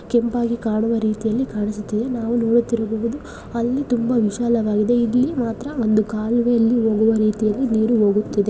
ಕೆಂಪಾಗಿ ಕಾಣುವ ರೀತಿಯಲ್ಲಿ ಕಾಣಿಸುತ್ತಿದೆ. ನಾವು ನೋಡುತ್ತಿರಬಹುದು ಅಲ್ಲಿ ತುಂಬಾ ವಿಶಾಲವಾಗಿದೆ. ಇಲ್ಲಿ ಮಾತ್ರ ಒಂದು ಕಾಲುವೆಯಲ್ಲಿ ಹೋಗುವ ರೀತಿ ನೀರು ಹೋಗುತ್ತಿದೆ.